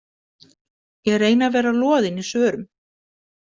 Ég reyni að vera loðin í svörum.